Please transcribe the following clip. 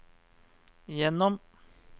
gjennom